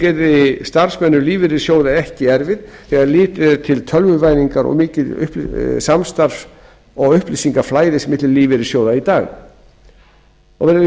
yrði starfsmönnum lífeyrissjóða ekki erfið þegar litið er til tölvuvæðingar og mikils samstarfs og upplýsingaflæðis milli lífeyrissjóða í dag virðulegi